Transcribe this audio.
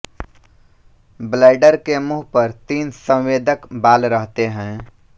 bladder के मुँह पर तीन संवेदक बाल रहते हैं